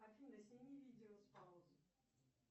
афина сними видео с паузы